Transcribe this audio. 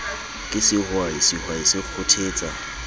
ke sehwai sehwai se kgothetsa